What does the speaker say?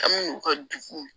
An mi n'u ka dugu